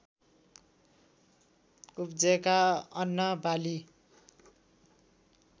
उब्जेका अन्नबाली